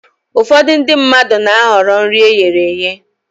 Ụfọdụ ndị mmadụ na-ahọrọ nri eghere eghe